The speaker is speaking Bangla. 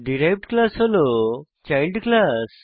ডিরাইভড ক্লাস হল চাইল্ড ক্লাস